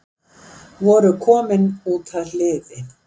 Voru komin út að hliði